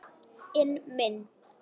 inn minn.